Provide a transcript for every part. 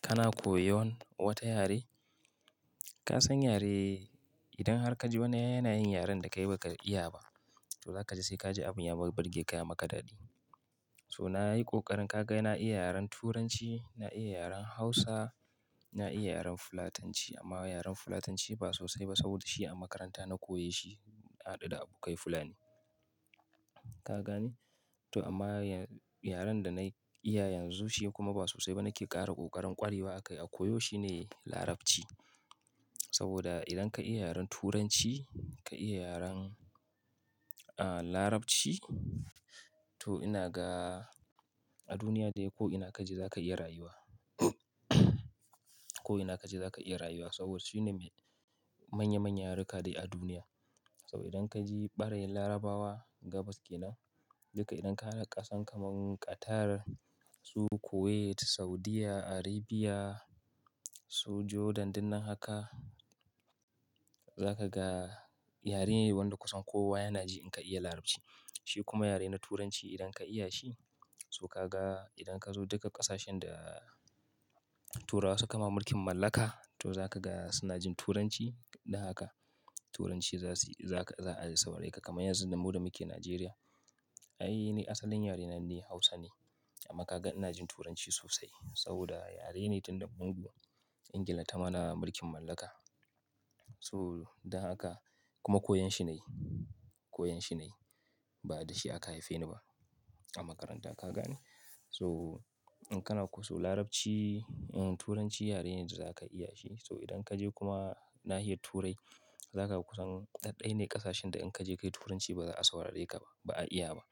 Kana koyon wata yare? Ka san yare idan har ka ji wani yana yin yaren da kai ba ka iya ba, to za ka ji sai ka ji abun ya burge ka ya maka daɗi. So na yi ƙoƙarin ka ga na iya yaren Turanci, na iya yaren Hausa, na iya yaren fulatanci amma yaren Fulatanci ba sosai ba saboda shi a makaranta na koya shi na hadu da abokai Fulani. Ka gane? To amma yaren da na iya yanzu shi kuma ba sosai ba nake ƙara ƙoƙarin ƙwarewa akai a koyo shi ne Larabci. Saboda idan ka iya yaren Turanci, ka iya yaren, ah, Larabci to ina ga a duniya dai ko ina ka je za ka iya rayuwa. Ko ina ka je za ka iya rayuwa saboda shi ne mai manya-manyan yaru ka dai a duniya. Saboda idan ka je ɓarayin Larabawa gabas kenan duka idan ka haɗa ƙasa kaman Qatar, su Kuwait, Saudiyya, Arabia, su Jordan duk nan haka za ka ga yare ne wanda kusan kowa yana ji in ka iya Larabci. Shi kuma yare na Turanci idan ka iya shi, so ka ga idan ka zo duka ƙasashen da Turawa suka ma mulkin mallaka to za ka ga suna jin Turanci da haka. Turanci za su yi za ka, za a saurare ka kamar yanzun da mu da muke Nijeriya. Ai ni asalin yare na ni Hausa ne amma ka ga ina jin Turanci sosai saboda yare ne tunda mu duk Ingila ta mana mulkin mallaka. So dan haka kuma koyon shi na yi. Koyon shi na yi. Ba da shi aka haife ni ba a makaranta ka gane. So in kana kuso Larabci, Turanci yare ne da za ka iya shi. So idan ka je kuma nahiyar Turai za ka ga kusan daɗ-ɗai ne ƙasashen da in ka je ka yi Turanci ba za a saurare ka ba. Ba a iya ba.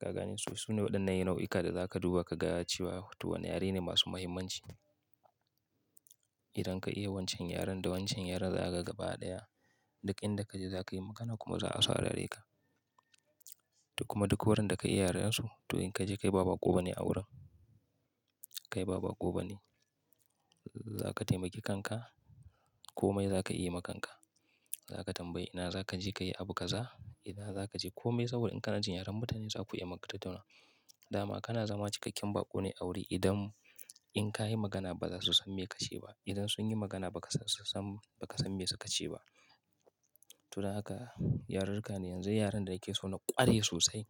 Ka gane? So su ne waɗannan nau'ika da za ka duba ka ga cewa to wane yare ne masu muhimmanci. Idan ka iya wancan yaren da wancan yaren za ka gaba ɗaya duk inda ka je za ka yi magana kuma za a saurare ka. To kuma duk wurin da ka yi yaren su to in ka je kai ba baƙo bane a wurin. Kai baba ƙobe ne. Za ka taimaki kanka komai za ka iya ma kanka. Za ka tambayi ina za ka je ka yi abu ka za, ina za ka je komai saboda in ka najin yaren mutane za ku iya magana ku tattauna. Dama kana zama cikakken baƙo ne a wuri idan in ka yi magana ba za su san me ka ce ba. Idan sun yi magana ba ka san, ba ka san me su ka ce ba. To dan haka yarurruka ne yanzu yaren da nake so na ƙware sosai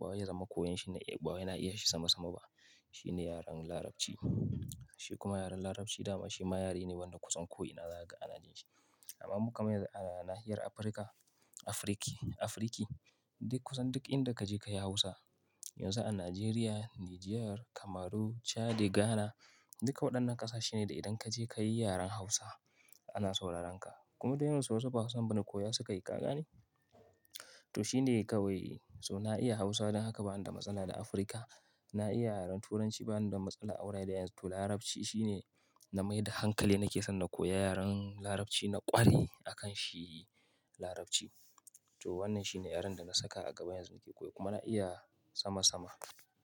ba wai ya zama koyon shi na iya ba wai na iya shi sama-sama ba. Shi ne yaren Larabci. Shi kuma yaren Larabci dama shi ma yare ne wanda kusan ko ina za ka ana jin shi. Amma mu kamar yanzu a nahiyar Afirka, Afirki, Afirki duk kusan duk inda ka je ka yi Hausa. Yanzu a Nijeriya, Nijar, Kamaru, Chadi, Ghana duka waɗannan ƙasashe ne da idan ka je ka yi yaren Hausa ana sauraren ka. Kuma da yawansu wasu ba Hausan bane koya suka yi ka gane. To shi ne kawai so na iya Hausa don haka bani da matsala da Afirka. Na iya yaren Turanci bani da matsala a wurare a yanzu. To Larabci shi ne na mai da hankali nake son na koya yaren Larabci na ƙware a kan shi Larabci. To wannan shi ne yaren da na saka a gaba yanzu nake koyo kuma na iya sama-sama.